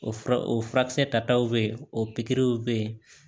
O fura o furakisɛ tataw bɛ yen o pikiriw bɛ yen